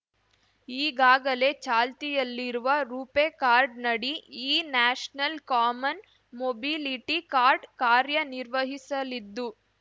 ಈಗಾಗಲೇ ಚಾಲ್ತಿಯಲ್ಲಿರುವ ರೂಪೇ ಕಾರ್ಡ್‌ನಡಿ ಈ ನ್ಯಾಷನಲ್ ಕಾಮನ್ ಮೊಬಿಲಿಟಿ ಕಾರ್ಡ್ ಕಾರ್ಯನಿರ್ವಹಿಸಲಿದ್ದು